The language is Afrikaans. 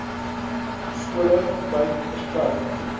skole wyd versprei